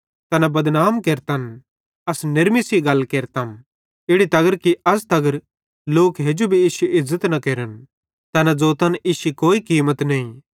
तैना बदनाम केरतन अस नेरमी सेइं गल केरतम इड़ी तगर कि अज़ तगर लोक हेजू भी इश्शी इज़्ज़त न केरन तैना ज़ोतन कि इश्शी कोई कीमत नईं